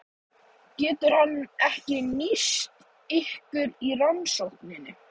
Getur hann ekki nýst ykkur í rannsókninni?